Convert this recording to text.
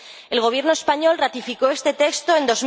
El Gobierno español ratificó este texto en